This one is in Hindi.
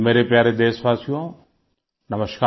मेरे प्यारे देशवासियों नमस्कार